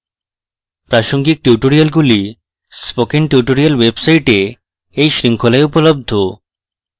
প্রাসঙ্গিক টিউটোরিয়ালগুলি spoken tutorials website এই শৃঙ্খলায় উপলব্ধ